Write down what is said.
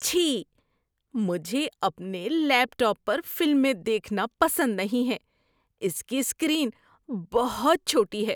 چھی ۔ مجھے اپنے لیپ ٹاپ پر فلمیں دیکھنا پسند نہیں ہے۔ اس کی اسکرین بہت چھوٹی ہے۔